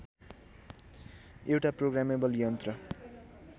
एउटा प्रोग्रामेबल यन्त्र